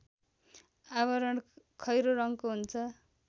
आवरण खैरो रङ्गको हुन्छ